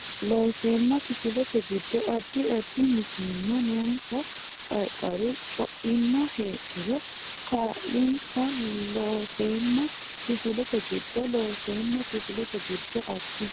Looseemma Kifilete giddo addi addi mitiimma noonsa Qarqaru Co imma heedhuro kaa linsa Looseemma Kifilete giddo Looseemma Kifilete giddo addi.